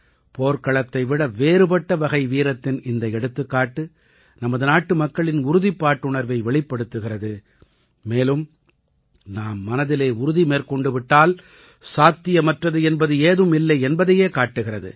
போர்க்களத்தை விட வேறுபட்ட வகை வீரத்தின் இந்த எடுத்துக்காட்டு நமது நாட்டுமக்களின் உறுதிப்பாட்டுணர்வை வெளிப்படுத்துகிறது மேலும் நாம் மனதிலே உறுதி மேற்கொண்டு விட்டால் சாத்தியமற்றது என்பது ஏதும் இல்லை என்பதையே காட்டுகிறது